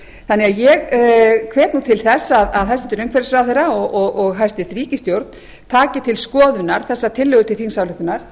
þau ég hvet nú til þess að hæstvirtur umhverfisráðherra og hæstvirt ríkisstjórn taki til skoðunar þessa tillögu til þingsályktunar